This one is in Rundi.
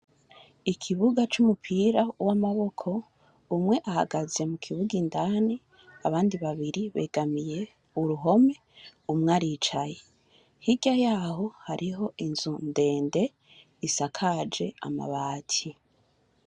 Ikibuga c'umupira w'amaboko, umwe ahagaze mu kibuga indani, abandi babiri begamiye uruhome, umwe aricaye. Hirya yaho hariho inzu ndende isakaje amabati.